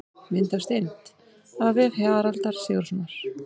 Mynd af steind: af vef Haraldar Sigurðssonar.